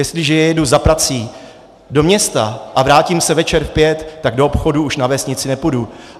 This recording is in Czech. Jestliže jedu za prací do města a vrátím se večer v pět, tak do obchodu už na vesnici nepůjdu.